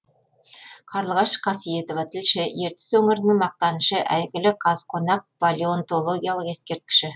қарлығаш қасиетова тілші ертіс өңірінің мақтанышы әйгілі қазқонақ палеонтологиялық ескерткіші